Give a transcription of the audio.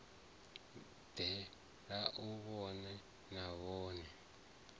bve a vhonane navho a